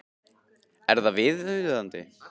Er það viðunandi?